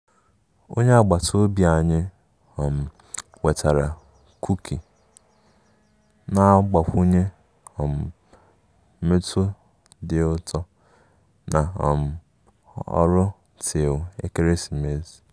Onye agbata obi anyị um wetara kuki, na-agbakwunye um mmetụ dị ụtọ na um ọrụ tii ekeresimesi